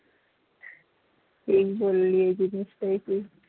ঠিক বললি এই জিনিসটাই ঠিক